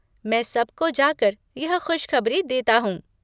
मैं सबको जाकर यह खुशखबरी देता हूँ!